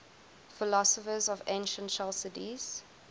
philosophers of ancient chalcidice